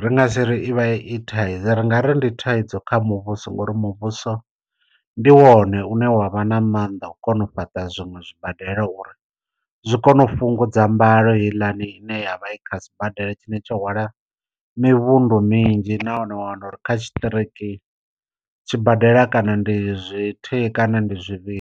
Ri nga si ri i vha i thaidzo ri nga ri ndi thaidzo kha muvhuso nga uri muvhuso ndi wone une wa vha na mannḓa a u kona u fhaṱa zwiṅwe zwibadela uri zwi kone u fhungudza mbalo heiḽani ine ya vha i kha sibadela tshine tsho hwala mivhundu minzhi nahone wa wana uri kha tshiṱiriki tshibadela kana ndi zwithihi kana ndi zwivhili.